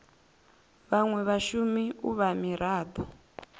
vhanwe vhashumi u vha mirado